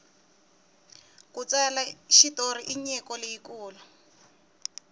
ku tsala xitori i nyiko leyi kulu